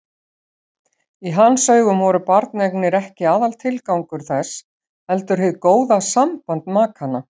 Í hans augum voru barneignir ekki aðaltilgangur þess heldur hið góða samband makanna.